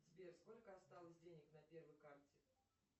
сбер сколько осталось денег на первой карте